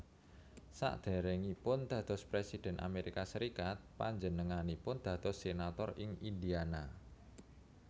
Saderengipun dados presiden Amerika Serikat panjenenganipun dados senator ing Indiana